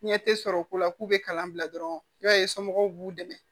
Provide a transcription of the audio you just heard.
Ɲɛ tɛ sɔrɔ o la k'u bɛ kalan bila dɔrɔn i b'a ye somɔgɔw b'u dɛmɛ